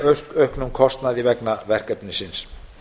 né auknum kostnaði vegna verkefnisins